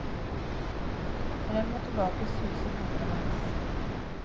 Frem og tilbake suser hammeren hans.